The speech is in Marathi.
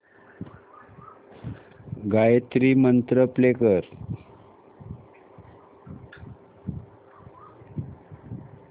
गायत्री मंत्र प्ले कर